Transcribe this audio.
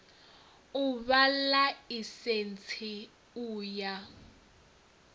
u fha ḽaisentsi u ya